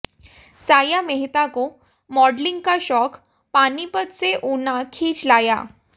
साया मेहता को मॉडलिंग का शौक पानीपत से ऊना खींच लाया